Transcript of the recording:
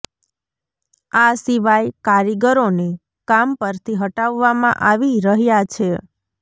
આ સિવાય કારીગરોને કામ પરથી હટાવવામાં આવી રહ્યા છે